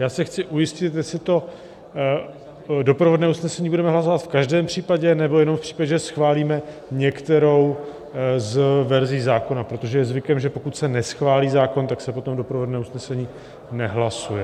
Já se chci ujistit, jestli to doprovodné usnesení budeme hlasovat v každém případě, nebo jenom v případě, že schválíme některou z verzí zákona, protože je zvykem, že pokud se neschválí zákon, tak se potom doprovodné usnesení nehlasuje.